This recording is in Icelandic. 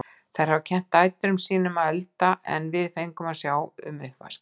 Þær hafa kennt dætrum sín um að elda en við fengum að sjá um uppvaskið.